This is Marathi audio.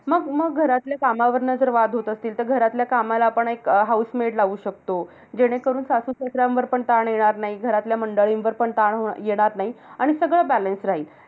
मग मग घरातल्या कामावरून जर वाद होतं असतील, तर घरातल्या कामाला आपण एक housemade लावू शकतो. जेणेकरून सासू-सासऱ्यांवर पण ताण येणार नाही. घरातल्या मंडळींवर पण ताण होणं येणार नाही. आणि सगळं balance राहील.